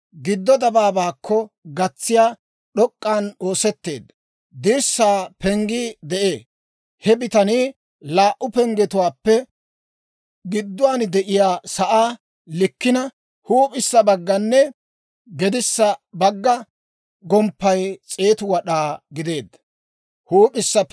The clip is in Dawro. Giddo dabaabaakko gatsiyaa, d'ok'k'an oosetteedda, dirssaa penggii de'ee. He bitanii laa"u penggetuwaappe gidduwaan de'iyaa sa'aa likkina huup'issa baggaanne gedissa bagga gomppay 100 wad'aa gideedda.